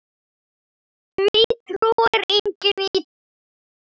Því trúir enginn í dag.